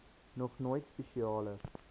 nog nooit spesiale